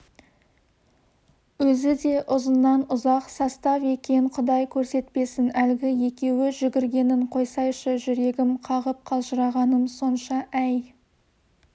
өзі де ұзыннан-ұзақ состав екен құдай көрсетпесін әлгі екеуі жүгіргенін қойсайшы жүрегім қағып қалжырағаным сонша әй